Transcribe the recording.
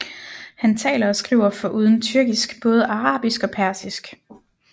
Han taler og skriver foruden tyrkisk både arabisk og persisk